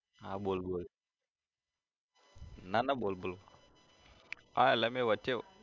હા બોલ-બોલ ના ના બોલ બોલ હા એટલે મેં વચ્ચે